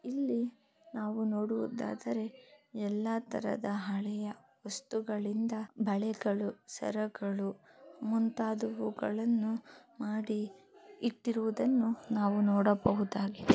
ಇಲ್ಲಿ ನಾವು ನೋಡುವುದಾದರೆ ಎಲ್ಲ ತರಹದ ಹಳೆಯ ವಸ್ತುಗಳಿಂದ ಬಳೆಗಳು ಸರಗಳು ಮುಂತಾದವುಗಳನ್ನು ಮಾಡಿ ಇಟ್ಟಿರುವುದನ್ನು ನಾವು ನೋಡಬಹುದಾಗಿದೆ --